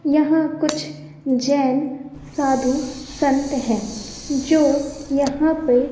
यहां कुछ जैन साधु संत हैं जो यहां पे--